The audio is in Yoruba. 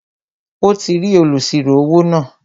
Ó ti rí olùsirò-owó náà